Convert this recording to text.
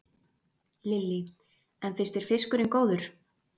Lillý: En finnst þér fiskurinn góður?